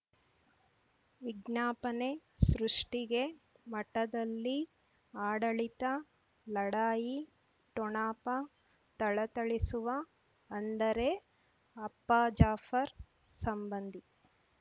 ವಿಜ್ಞಾಪನೆ ಸೃಷ್ಟಿಗೆ ಮಠದಲ್ಲಿ ಆಡಳಿತ ಲಢಾಯಿ ಠೊಣಪ ಥಳಥಳಿಸುವ ಅಂದರೆ ಅಪ್ಪ ಜಾಫರ್ ಸಂಬಂಧಿ